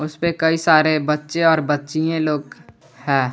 इसपे कई सारे बच्चे और बच्चिये लोग है।